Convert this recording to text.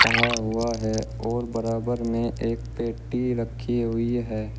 टंगा हुआ है और बराबर में एक पेटी रखी हुई है।